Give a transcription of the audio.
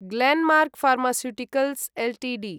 Glenmark Pharmaceuticals Ltd